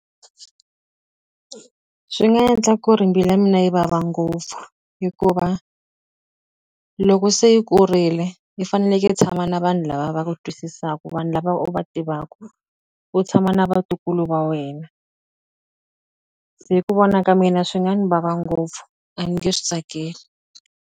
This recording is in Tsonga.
Swi nga endla ku ri mbilu ya mina yi vava ngopfu. Hikuva loko se i kurile, i fanekele i tshama na vanhu lava va twisisaka, vanhu lava u va tivaka, u tshama na vatukulu va wena. Se hi ku vona ka mina swi nga ni vava ngopfu, a ni nge swi tsakeli.